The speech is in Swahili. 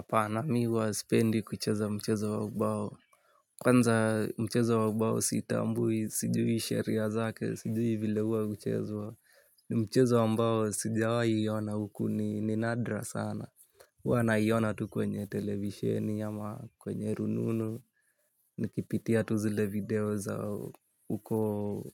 Apana mimi huwa sipendi kucheza mchezo wa ubao. Kwanza mchezo wa ubao sitambui, sijui sheria zake, sijui vile huwa huchezwa. Ni mchezo ambao sijawai ona huku ni nadra sana. Huwa naiona tu kwenye televisheni ama kwenye rununu. Nikipitia tu zile video za huko